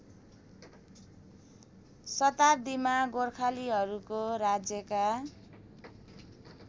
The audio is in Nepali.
शताब्दीमा गोर्खालीहरूको राज्यका